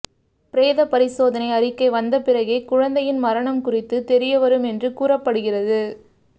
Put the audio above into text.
பிரேத பரிசோதனை அறிக்கை வந்த பிறகே குழந்தையின் மரணம் குறித்த தெரிய வரும் என்று கூறப்படுகிறது